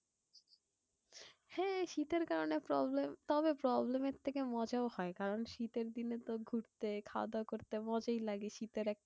হ্যাঁ শীতের কারণে problem তবে problem থেকে মজাও হয়। কারণ শীতের দিনে তো ঘুরতে খাওয়া দাওয়া করতে মজাই লাগে। কারণ শীতের একটা